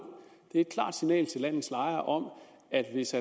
det er et klart signal til landets lejere om at hvis